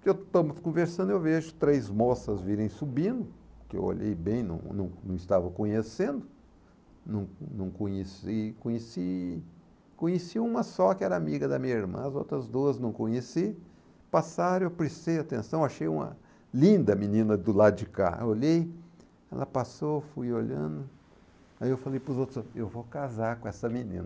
que estamos conversando, eu vejo três moças virem subindo, que eu olhei bem, não não não estava conhecendo, não não conheci, conheci conheci uma só que era amiga da minha irmã, as outras duas não conheci, passaram, eu prestei atenção, achei uma linda menina do lado de cá, olhei, ela passou, fui olhando, aí eu falei para os outros, eu vou casar com essa menina.